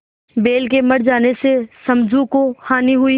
बैल के मर जाने से समझू को हानि हुई